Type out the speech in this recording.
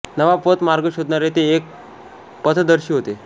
नवा पथ मार्ग शोधणारे ते एक पथदर्शी होते